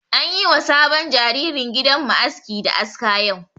An yi ma sabon jaririn gidan mu aski da aska yau.